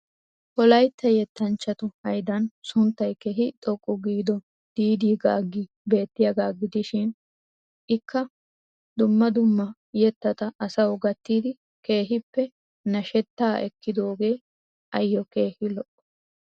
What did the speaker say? Wolaytta yettanchchattu haydan sunttay keehii xoqqu giido "Did Gagi" beettyaagaa gidishii ikka dumma dumma yettatawu asawu gattidi keehiippe nashshettaa ekkidoogee ayoo keehii lo'o.